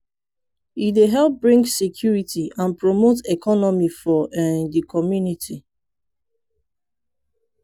e dey help bring security and promote economy for um de community.